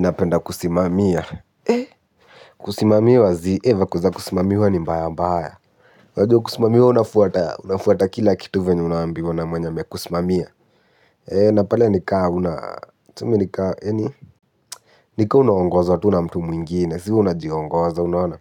Napenda kusimamia, kusimamiwa ziii, za kuzakusimamiwa ni mbaya mbaya. Wajua kusimamiwa unafuata unafuata kila kitu venye unaambiwa na mwenye amekusimamia. Na pale nika huna, tume nika, yani? Nika unaongozwa tu na mtu na mtu mwingine, si unajiongoza, unaona?